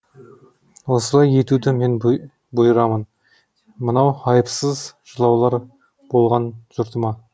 осылай етуді мен бұйырамын мынау айыпсыз жылаулар болған жұртыма